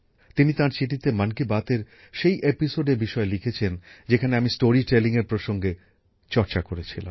তিনি তাঁর চিঠিতে মন কি বাতএর সেই এপিসোডের বিষয়ে লিখেছেন যেখানে আমি স্টোরি টেলিংএর প্রসঙ্গে চর্চা করেছিলাম